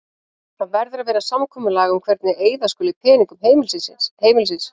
Það verður að vera samkomulag um hvernig eyða skuli peningum heimilisins.